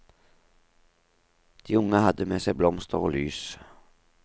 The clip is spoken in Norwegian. De unge hadde med seg blomster og lys.